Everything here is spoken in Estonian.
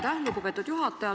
Aitäh, lugupeetud juhataja!